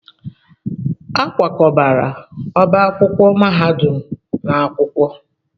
A kwakọbala ọba akwụkwọ mahadum n'akwụkwọ.